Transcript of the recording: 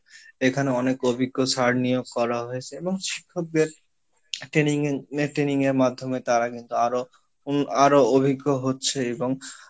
এখানে অনেক অভ্যিজ্ঞ sir নিয়োগ করা হয়েসে এবং শিক্ষকদের training এর net training এর মাধ্যমে তারা কিন্তু আরো উন আরো অভ্যিজ্ঞ হচ্ছে এবং